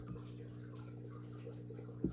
Þau stálu hvort frá öðru dagbókum og grammófónplötum.